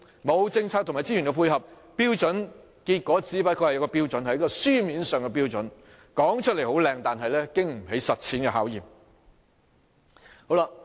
沒有政策及資源配合，標準終究只是一個標準，一個書面上的標準，說出來動聽，但經不起實踐的考驗。